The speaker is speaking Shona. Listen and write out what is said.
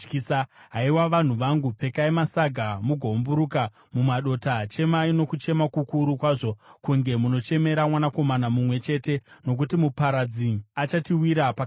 Haiwa, vanhu vangu, pfekai masaga mugoumburuka mumadota; chemai nokuchema kukuru kwazvo kunge munochemera mwanakomana mumwe chete, nokuti muparadzi achatiwira pakarepo.